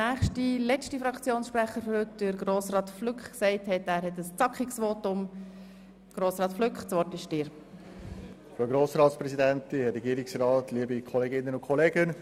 Der letzte Fraktionssprecher, Grossrat Flück, hat jedoch angekündigt, dass er sich kurz fassen will.